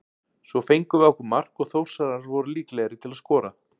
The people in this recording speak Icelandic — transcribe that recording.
Svo fengum við á okkur mark og Þórsarar voru líklegri til að skora.